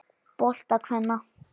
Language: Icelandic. bolta kvenna.